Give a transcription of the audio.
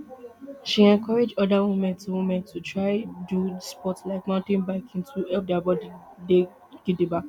she encourage oda women to women to try do sport like mountain biking to help dia bodi dey gidigba